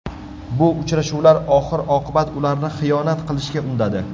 Bu uchrashuvlar oxir-oqibat ularni xiyonat qilishga undadi.